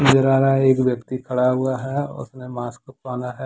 एक व्यक्ति खड़ा हुआ है उसने मास्क पहना है।